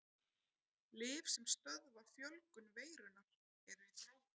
Lyf sem stöðva fjölgun veirunnar eru í þróun.